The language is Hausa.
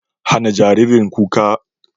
Hana jaririn kuka.